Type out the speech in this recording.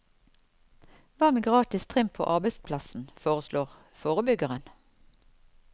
Hva med gratis trim på arbeidsplassen, foreslår forebyggeren.